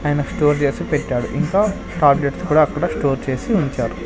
ఆయన స్టోర్ చేసి పెట్టాడు ఇంకా టాబ్లెట్స్ కూడా అక్కడ స్టోర్ చేసి ఉంచారు.